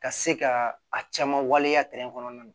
Ka se ka a caman waleya kɔnɔna na